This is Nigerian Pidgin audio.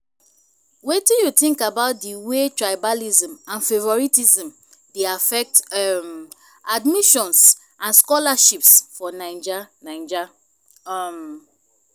wetin you think about di way tribalism and favoritism dey affect um admissions and scholarships for naija? naija? um